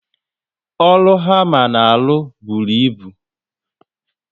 Ọrụ hama na alụ bụrụ ịbụ